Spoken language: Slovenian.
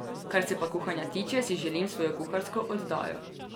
Kar se pa kuhanja tiče, si želim svojo kuharsko oddajo.